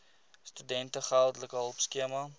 studente geldelike hulpskema